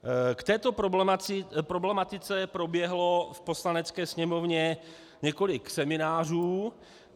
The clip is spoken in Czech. K této problematice proběhlo v Poslanecké sněmovně několik seminářů.